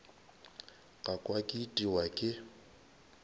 ka kwa ke itiwa ke